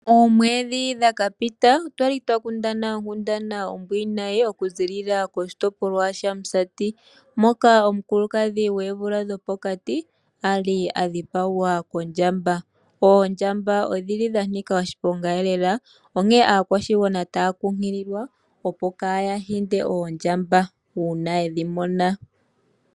Oomwedhi dha piti otwali twa kundana onkundana ombwiinayi oku ziilila koshitopolwa shamusati. Moka omukulukadhi gwoomvula dhopokati ali adhipagwa kondjamba. Oondja odhili dha nika oshiponga elela. Onkene aakwashigwana taya kunkililwa opo kaya hinde oondja una yedhi mona.